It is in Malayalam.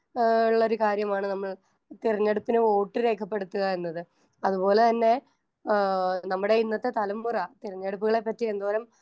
സ്പീക്കർ 1 ഏഹ് ള്ളൊരു കാര്യമാണ് നമ്മൾ തിരഞ്ഞെടുപ്പിന് വോട്ട് രേഖപ്പെടുത്തുക എന്നത്. അതുപോലെതന്നെ ആഹ് നമ്മടെ ഇന്നത്തെ തലമുറ തിരഞ്ഞെടുപ്പുകളെപ്പറ്റി എന്തോരം